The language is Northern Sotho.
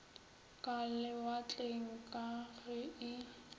ka lewatleng ka ge e